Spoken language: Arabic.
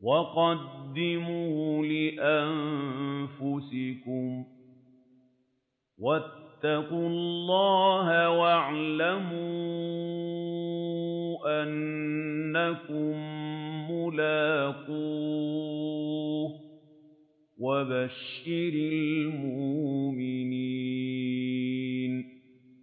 وَقَدِّمُوا لِأَنفُسِكُمْ ۚ وَاتَّقُوا اللَّهَ وَاعْلَمُوا أَنَّكُم مُّلَاقُوهُ ۗ وَبَشِّرِ الْمُؤْمِنِينَ